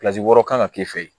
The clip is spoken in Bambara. wɔɔrɔ kan ka k'e fɛ yen